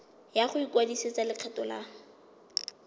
ya go ikwadisetsa lekgetho la